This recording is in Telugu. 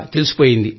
ముందే తెలిసిపోయింది